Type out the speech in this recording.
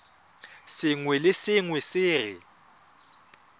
sengwe le sengwe se re